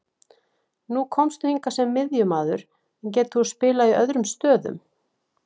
Nú komstu hingað sem miðjumaður, en getur þú spilað í öðrum stöðum?